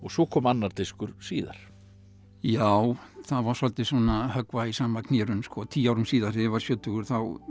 svo kom annar diskur síðar já það var svolítið að höggva í sama knérun tíu árum síðar þegar ég varð sjötugur